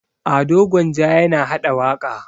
Ado Gwanja yana haɗa waƙa.